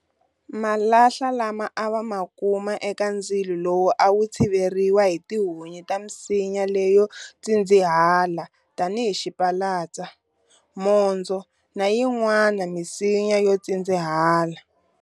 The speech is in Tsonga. Malahla lama a va ma kuma eka ndzilo lowu a wu tshiveriwa hi tihunyi ta misinya leyo tshindzihela tanihi xipalatsa, mondzo na yinwana misinya yo tsindzihela.